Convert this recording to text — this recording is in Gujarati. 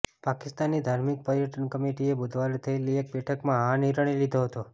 પાકિસ્તાનની ધાર્મિક પર્યટન કમિટીએ બુધવારે થયેલી એક બેઠકમાં આ નિર્ણય લીધો હતો